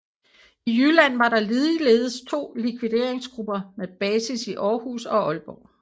I Jylland var der ligeledes to likvideringsgrupper med basis i Århus og Aalborg